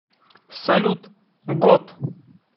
салют год